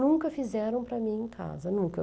Nunca fizeram para mim em casa, nunca.